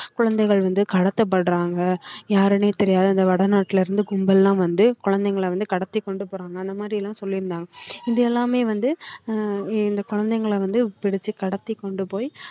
குழந்தைகள் வந்து கடத்தப்படுறாங்க யாருன்னே தெரியாது அந்த வடநாட்டுல இருந்து கும்பல் எல்லாம் வந்து குழந்தைகளை வந்து கடத்தி கொண்டு போறாங்க அந்த மாதிரி எல்லாம் சொல்லியிருந்தாங்க இது எல்லாமே வந்து ஆஹ் இந்த குழந்தைகளை வந்து பிடிச்சு கடத்திக் கொண்டு போய்